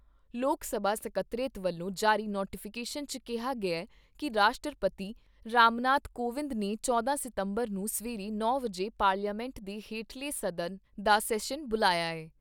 ਲੋਕ ਸਭਾ ਸਕੱਤਰੇਤ ਵੱਲੋਂ ਜਾਰੀ ਨੋਟੀਫਿਕੇਸ਼ਨ 'ਚ ਕਿਹਾ ਗਿਆ ਕਿ ਰਾਸ਼ਟਰਪਤੀ ਰਾਮਨਾਥ ਕੋਵਿਦ ਨੇ ਚੌਦਾ ਸਤੰਬਰ ਨੂੰ ਸਵੇਰੇ ਨੌ ਵਜੇ ਪਾਰਲੀਮੈਂਟ ਦੇ ਹੇਠਲੇ ਸਦਨ ਦਾ ਸੈਸ਼ਨ ਬੁਲਾਇਆ ਏ।